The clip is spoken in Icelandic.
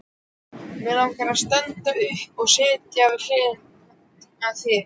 Mig langar að standa upp og setjast við hlið þína.